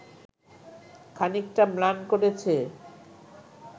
খানিকটা ম্লান করেছে